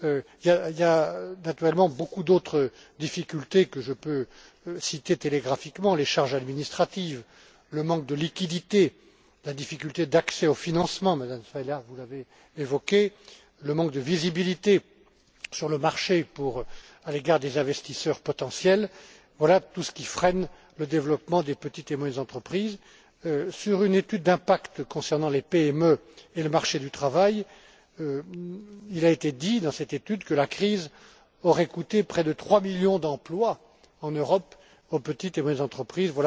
Il existe évidemment beaucoup d'autres difficultés que je peux citer brièvement les charges administratives, le manque de liquidités, la difficulté d'accès au financement Madame, vous l'avez évoqué le manque de visibilité sur le marché à l'égard des investisseurs potentiels. Voilà tout ce qui freine le développement des petites et moyennes entreprises. Selon une étude d'impact concernant les PME et le marché du travail, la crise aurait coûté près de trois millions d'emplois en Europe aux petites et moyennes entreprises.